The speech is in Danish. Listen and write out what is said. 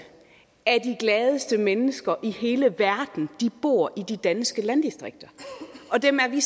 af de gladeste mennesker i hele verden bor i de danske landdistrikter og dem er vi